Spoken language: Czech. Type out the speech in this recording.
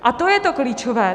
A to je to klíčové.